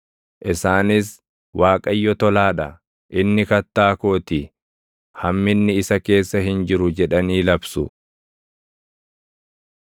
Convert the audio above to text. Isaanis, “ Waaqayyo tolaa dha; inni Kattaa koo ti; hamminni isa keessa hin jiru” jedhanii labsu.